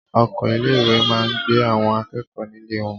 Ọkọ̀ ilé ìwé máa gbé àwọn akẹ́kọ̀ọ́ nílé wọn.